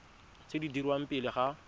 tse di dirwang pele ga